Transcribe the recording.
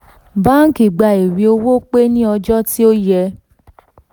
báńkì gbà ìwé owó pé ní ọjọ́ tí ó yẹ